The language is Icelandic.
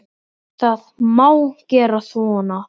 Það má gera svona